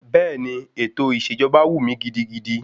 Bẹ́ẹ̀ni, ètò ìṣèjọba wù mí gidigidi.